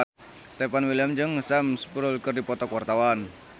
Stefan William jeung Sam Spruell keur dipoto ku wartawan